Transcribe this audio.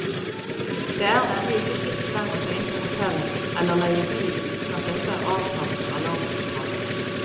Det er nemlig ikke fritt frem å ta inn på hotell eller leie bil uten at dette er avtalt med alarmsentralen.